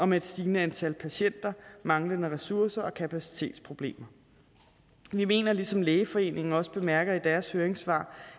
med et stigende antal patienter manglende ressourcer og kapacitetsproblemer vi mener ligesom lægeforeningen også bemærker i deres høringssvar